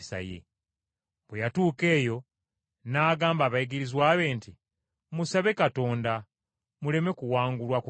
Bwe yatuuka eyo n’agamba abayigirizwa be nti, “Musabe Katonda, muleme kuwangulwa kukemebwa.”